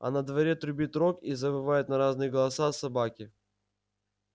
а на дворе трубит рог и завывают на разные голоса собаки